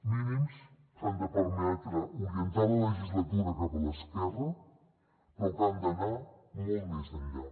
mínims que han de permetre orientar la legislatura cap a l’esquerra però que han d’anar molt més enllà